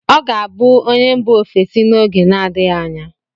Ọ ga-abụ onye mgba ofesi n'oge na-adịghị anya.